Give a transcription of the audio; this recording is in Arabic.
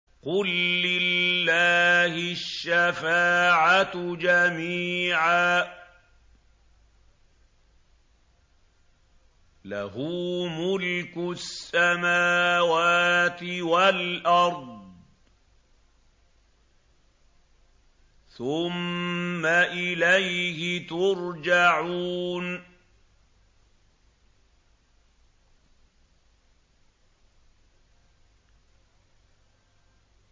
قُل لِّلَّهِ الشَّفَاعَةُ جَمِيعًا ۖ لَّهُ مُلْكُ السَّمَاوَاتِ وَالْأَرْضِ ۖ ثُمَّ إِلَيْهِ تُرْجَعُونَ